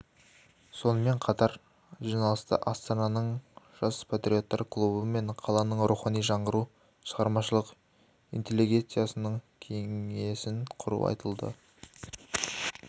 сонымен қатар жиналыста астананың жас патриоттар клубы мен қаланың рухани жаңғыру шығармашылық интеллигенциясының кеңесін құру айтылды